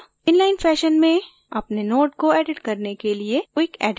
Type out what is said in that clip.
inline fashion में अपने node को edit करने के लिए quick edit पर click करें